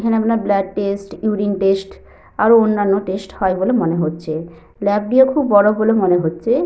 এখানে আপনার blood test urine test আরো অন্যান্য টেস্ট হয় বলে মনে হচ্ছে। ল্যাব টিও খুব বড় বলে মনে হচ্ছে।